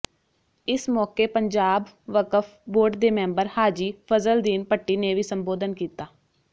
ਇਸ ਮੌਕੇ ਪੰਜਾਬ ਵਕਫ ਬੋਰਡ ਦੇ ਮੈਂਬਰ ਹਾਜੀ ਫਜਲਦੀਨ ਭੱਟੀ ਨੇ ਵੀ ਸੰਬੋਧਨ ਕੀਤਾ